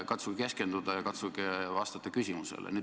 Katsuge keskenduda ja katsuge küsimusele vastata!